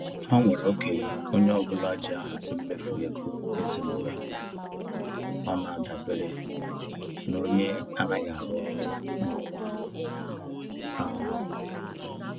Ha nwere oge onye ọbụla ji ahazi mmefu ego ezinaụlọ, ọ na adabere n'onye anaghị arụ ọrụ n'ọnwa ahu